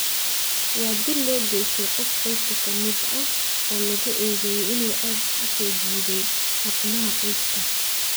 Waa dil loo geystay qof qoyska ka mid ah oo lagu eedeeyay inuu ceeb u soo jiiday xubnaha qoyska.